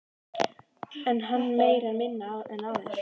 En er hann meiri eða minni en áður?